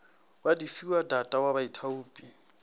wa difiwa data wa baithaupi